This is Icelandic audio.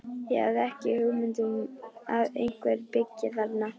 Ég hafði ekki hugmynd um að einhver byggi þarna.